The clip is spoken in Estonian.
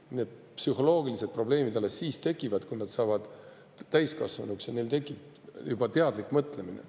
Vastupidi, need psühholoogilised probleemid tekivad alles siis, kui nad saavad täiskasvanuks ja neil tekib juba teadlik mõtlemine.